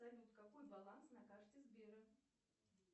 салют какой баланс на карте сбера